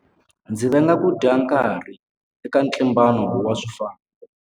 Ndzi venga ku dya nkarhi eka ntlimbano wa swifambo.